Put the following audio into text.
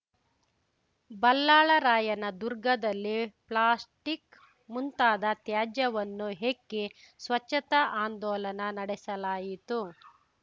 ಬಲ್ಲಾಳರಾಯನ ದುರ್ಗದಲ್ಲಿ ಪ್ಲಾಸ್ಲಿಕ್‌ ಮುಂತಾದ ತ್ಯಾಜ್ಯವನ್ನು ಹೆಕ್ಕಿ ಸ್ವಚ್ಛತಾ ಆಂದೋಲನಾ ನಡೆಸಲಾಯಿತು